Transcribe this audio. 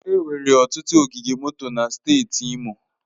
Enwere ọtụtụ ogige moto na steeti Imo.